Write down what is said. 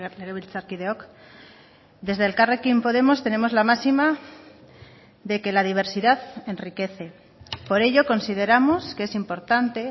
legebiltzarkideok desde elkarrekin podemos tenemos la máxima de que la diversidad enriquece por ello consideramos que es importante